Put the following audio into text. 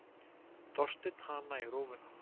Þorsteinn hana í rófuna.